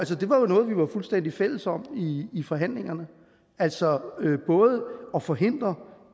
noget vi var fuldstændig fælles om i forhandlingerne altså både at forhindre